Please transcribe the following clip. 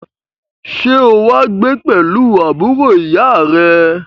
Sẹ́ o wá gbé pẹ̀lú àbúrò ìyá à rẹ?